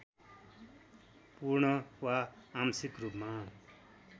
पूर्ण वा आंशिक रूपमा